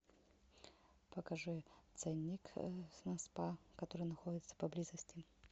покажи ценник на спа который находится поблизости